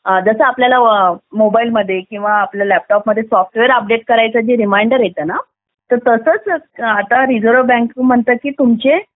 जसं आपल्याला मोबाईल मध्ये किंवा लॅपटॉप मध्ये सॉफ्टवेअर अपडेट साठी रिमाइंडर येताना तर तसंच आता रिझर्व बँक म्हणता की आता तुमचे